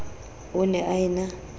o ne a e na